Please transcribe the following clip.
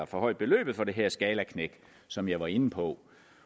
forhøjet beløbet for det her skalaknæk som jeg var inde på